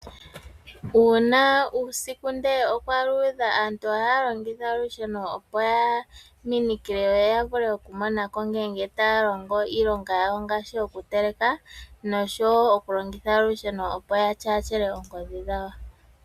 Uuna uusiku ndele okwa luudha aantu ohaya longitha olusheno opo ya minikile yo ya vule okumona ko ngele taya longo iilonga yawo ngaashi okuteleka noshowo okulongitha olusheno opo ya tyaatyele oongodhi dhawo.